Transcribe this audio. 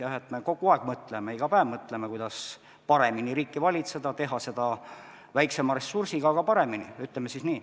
Jah, me kogu aeg mõtleme, iga päev mõtleme, kuidas paremini riiki valitseda, teha seda väiksema ressursiga, aga paremini, ütleme siis nii.